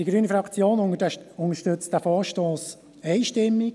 Die grüne Fraktion unterstützt den Vorstoss einstimmig.